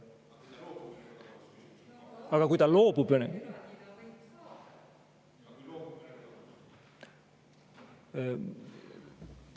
Aga kui ta loobub Vene …